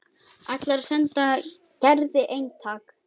Ætlar að senda Gerði eintak.